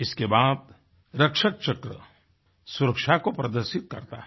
इसके बाद रक्षक चक्र सुरक्षा को प्रदर्शित करता है